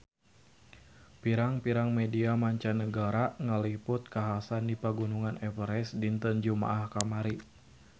Pirang-pirang media mancanagara ngaliput kakhasan di Pegunungan Everest dinten Jumaah kamari